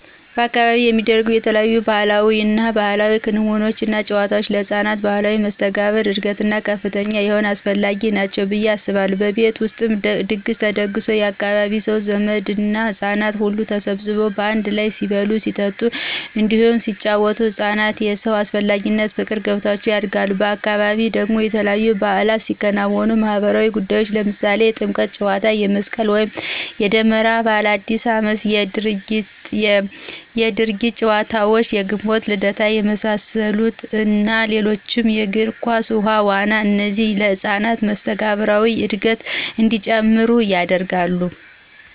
በአካባቢው የሚደረጉ የተለያዩ ማህበራዊ እና ባህላዊ ክንውኖች እና ጫወታወች ለህፃናት ማህበራዊ መስተጋብር እድገት ከፍተኛ የሆነ አስፈላጊ ናቸው ብየ አስባለሁ። በቤት ውስጥ ድግስ ተደግሶ የአካባቢው ሰው፣ ዘመድ እና ህጻናት ሁሉ ተሰባስበው በአንድ ላይ ሲበሉ ሲጠጡ እንዲሁም ሲጪወቱ ህፃናት የሰው አስፈላጊነት ፍቅር ገብቷቸው ያድጋሉ፤ በአካባቢ ደግሞ በተለያዩ ባዕላቶች የሚከወኑ ማህበራዊ ጉዳዮች ለምሳሌ የጥምቀት ጫዎታ፣ የመስቅል ወይም የደመራ በዓል፣ የአዲስ አመት የድርጊት ጨዋታዎች፣ የግንቦት ልደታ የመሳሰሉት እና ሌሎችም የግር ኳስ፣ ውሀ ዋና እነዚህ የህፃናትን መስተጋብራዊ እድገት እንዲጨምር ያደርጋሉ።